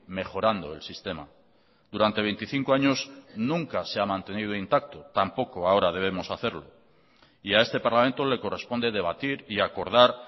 mejorando el sistema durante veinticinco años nunca se ha mantenido intacto tampoco ahora debemos hacerlo y a este parlamento le corresponde debatir y acordar